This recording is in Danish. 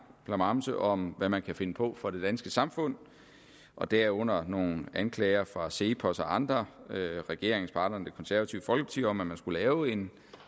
klamamse om hvad man kan finde på for det danske samfund og derunder nogle anklager fra cepos og andre regeringspartneren det konservative folkeparti om at man skulle lave en